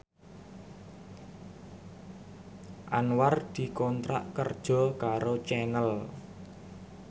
Anwar dikontrak kerja karo Channel